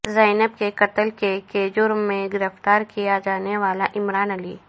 زینب کے قتل کے کے جرم میں گرفتار کیا جانے والا عمران علی